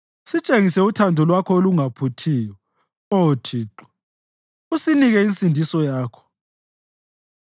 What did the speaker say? Sitshengise uthando lwakho olungaphuthiyo, Oh Thixo, usinike insindiso yakho.